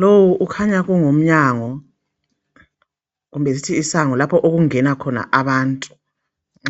Lowu kukhanya kungumnyango kumbe sithi isango lapho okungena khona abantu